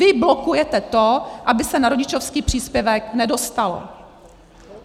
Vy blokujete to, aby se na rodičovský příspěvek nedostalo.